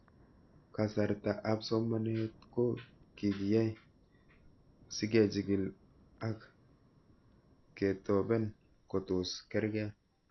Kasarta ab somanet ko kikiyai sikechig'il ak ketopen kotos karkei